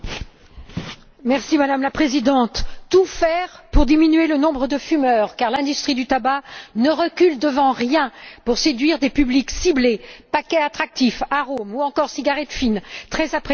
Madame la Présidente, il faut tout faire pour diminuer le nombre de fumeurs, car l'industrie du tabac ne recule devant rien pour séduire des publics ciblés paquets attractifs, arômes ou encore cigarettes fines très appréciées chez les jeunes femmes.